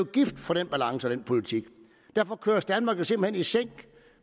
gift for den balance og den politik og derfor køres danmark jo simpelt hen i sænk